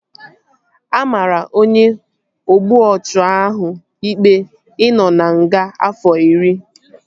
A maara onye ogbu ọchụ ahụ ikpe ị nọ na nga afọ iri